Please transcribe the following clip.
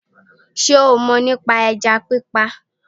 Sé o mò ní pa ẹja pípa